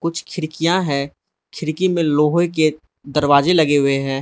कुछ खिड़कियां है खिड़की में लोहे के दरवाजे लगे हुए हैं।